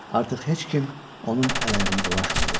Artıq heç kim onun əl-ayağına dolaşmırdı.